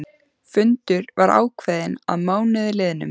Fundur var ákveðinn að mánuði liðnum.